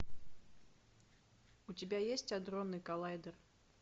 у тебя есть адронный коллайдер